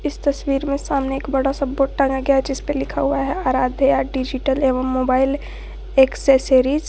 इस तस्वीर में सामने एक बड़ा सा बोर्ड टांगा गया है जिसपे लिखा हुआ है अराध्या डिजिटल एवं मोबाइल एक्सेसरीज ।